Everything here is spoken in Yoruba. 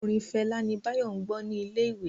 Orin Fela ní Bayo gbó ní ilé ìwé